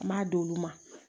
Kuma d'olu ma